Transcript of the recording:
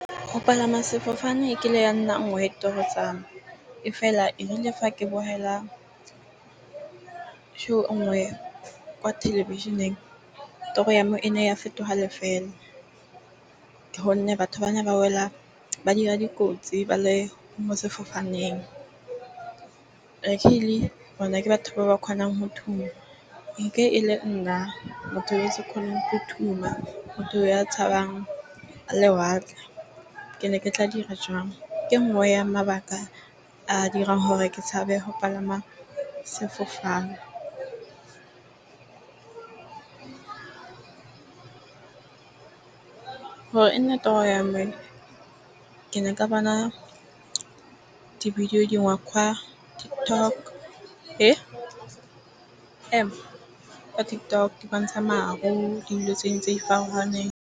Go palama sefofane e ke le ya nna nngwe ditoro tsa me. E fela erile fa ke show kwa thelebišeneng toro ya me e ne ya fetogele fela. Ke gonne batho bana ba wela ba dira dikotsi ba le mo sefofaneng. Luckily bona ke batho ba ba kgonang nke e le nna motho yo se kgone go . Motho ya tshabang lewatle ke ne ke tla dira jwang? Ke e nngwe ya mabaka a a dirang gore ke tshabe go palama sefofane. Gore e nne toro ya me ke ne ka bona di-video TikTok di bontsha maru dilo tse di farologaneng.